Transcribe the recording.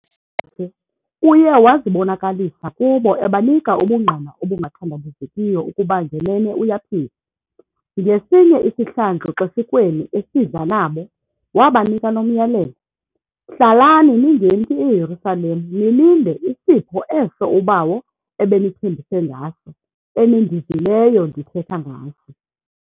Uye wazibonakalisa kubo ebanika ubungqina obungathandabuzekiyo ukuba ngenene uyaphila. Ngesinye isihlandlo xeshikweni esidla nabo, wabanika lo myalelo "hlalani ningemki eYerusalema nilinde isipho eso uBawo ebenithembise ngaso, enindivileyo ndithetha ngaso".